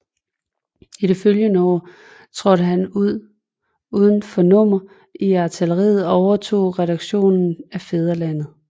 I det følgende år trådte han uden for nummer i artilleriet og overtog redaktionen af Fædrelandet